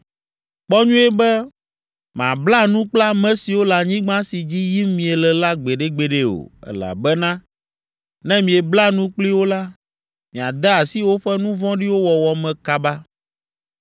Kpɔ nyuie be màbla nu kple ame siwo le anyigba si dzi yim miele la gbeɖegbeɖe o, elabena ne miebla nu kpli wo la, miade asi woƒe nu vɔ̃ɖiwo wɔwɔ me kaba.